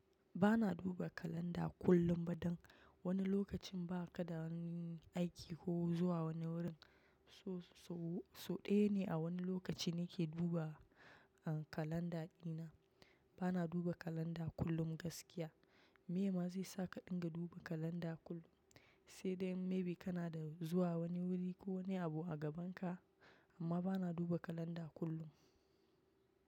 Ba na duba kalanda kullum ba don wani lokacin ba ka da aiki ko zuwa wani wurin. So so ɗaya ne a wani lokaci nake duba kalanda dina. Ba na duba kalanda kullum gaskiya. Me ma zai saka ka dinga duba kalanda kullum? Sai dai in may be kana da zuwa wani wuri ko wani abu a gaban ka, amma ba na duba kalanda kullum.